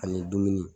Ani dumuni